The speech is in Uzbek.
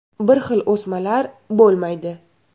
Bir xil o‘smalar bo‘lmaydi.